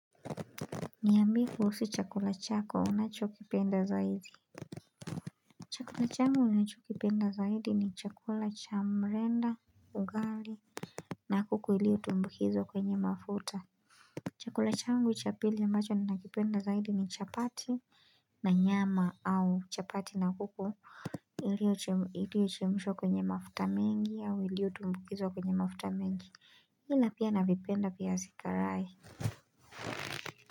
Niaambie kuhusu chakula chako unachokipenda zaidi Chakula changu ninachokipenda zaidi ni chakula cha mrenda, ugali na kuku iliyotumbukizwa kwenye mafuta Chakula changu cha pili ambacho ninachokipenda zaidi ni chapati na nyama au chapati na kuku iliyochemshwa kwenye mafuta mengi au iliyotumbukizwa kwenye mafuta mengi Ila pia navipenda pia viazi karai.